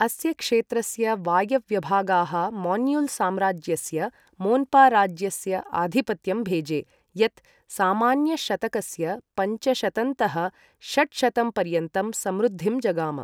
अस्य क्षेत्रस्य वायव्यभागाः मोन्युल् साम्राज्यस्य मोन्पा राज्यस्य आधिपत्यं भेजे यत् सामान्यशतकस्य पञ्चशतंतः षट्शतंपर्यन्तं समृद्धिं जगाम।